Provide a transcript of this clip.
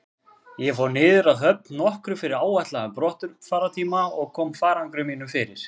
Ég fór niður að höfn nokkru fyrir áætlaðan brottfarartíma og kom farangri mínum fyrir.